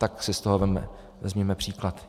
Tak si z toho vezměme příklad.